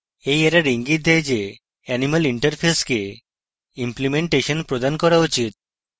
এই error ইঙ্গিত দেয় animal interface কে implementation প্রদান করা উচিত